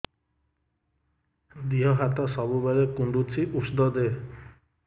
ଦିହ ହାତ ସବୁବେଳେ କୁଣ୍ଡୁଚି ଉଷ୍ଧ ଦେ